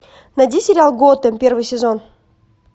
найди сериал готэм первый сезон